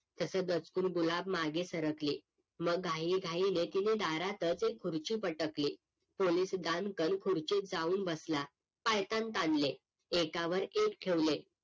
तस दचकून गुलाब मागे सरकली मग घाईघाई ने तिने दारातच एक खुर्ची पटकली पोलीस दणकन खुर्चीत जाऊन बसला पायताण ताणले एकावर एक ठेवले